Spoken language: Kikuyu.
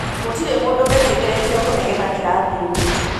Gũtirĩ mũndũ wĩtĩkĩrĩtio kũnegena kĩrathi-inĩ.